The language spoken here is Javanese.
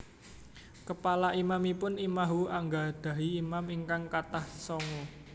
Kepala imamipun imahhu anggadhahi imam ingkang kathah tsongu